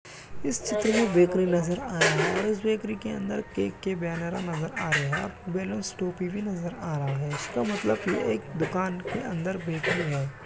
इस चित्र में बेकरी नजर आ रही है । उसे बेकरी के अंदर केक के बैनर नजर आ रहे हैं बलूंस टोपी भी नजर आ रहा है । इसका मतलब यह है कि यह दुकान के अंदर बेकरी है ।